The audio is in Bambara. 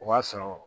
O b'a sɔrɔ